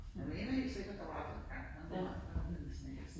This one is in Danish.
Jeg mener helt sikkert der var sådan en gang ned der var noget der hed Snekkersten